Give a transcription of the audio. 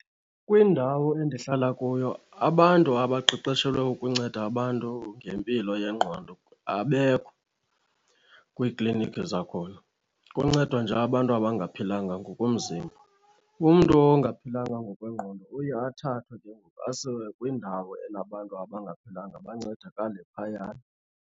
Kwindawo endihlala kuyo abantu abaqeqeshelwe ukunceda abantu ngempilo yengqondo abekho kwiiklinikhi zakhona. Kuncedwa nje abantu abangaphilanga ngokomzimba. Umntu ongaphilanga ngokwengqondo uye athathwe ke ngoku asiwe kwindawo enabantu abangaphilanga bancedakale phayana.